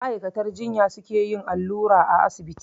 Ma'aikatar jinya su ke yin allura a asibiti